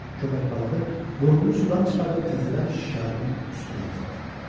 Köpək balığı burnunu sudan çıxardıb təzədən şikarın üstünə atıldı.